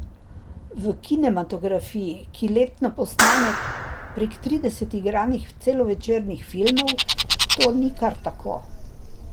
V kinematografiji, ki letno posname prek trideset igranih celovečernih filmov, to ni kar tako.